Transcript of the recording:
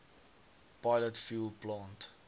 pilot fuel plant